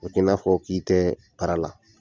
O be ki nafɔ k'i tɛ baara la